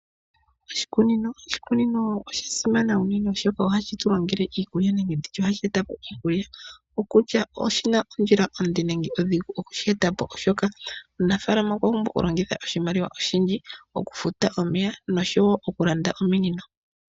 Oshikunino osha simana unene oshoka ohashi tu longele iikulya nenge ohashi etapo iikulya okutya oshina ondjila onde nenge odhigu mokushi etapo oshoka omunafalama okwapumbwa okulongitha oshimaliwa oshindji okufuta omeya nosho woo okulanda ominino.